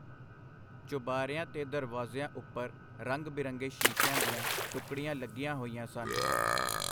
ਚੁਬਾਰਿਆਂ ਤੇ ਦਰਵਾਜ਼ਿਆਂ ਉਪਰ ਰੰਗ-ਬਿਰੰਗੇ ਸ਼ੀਸ਼ਿਆਂ ਦੀਆਂ ਟੁਕੜੀਆਂ ਲੱਗੀਆਂ ਹੋਈਆਂ ਸਨ.